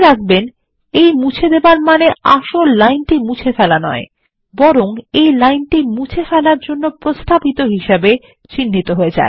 মনে রাখবেন এই মুছে দেবার মানে আসলে লাইনটি মুছে ফেলা নয় বরং এই লাইনটি মুছে ফেলার জন্য প্রস্তাবিত হিসাবে চিহ্নিত হয়